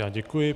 Já děkuji.